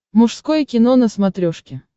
мужское кино на смотрешке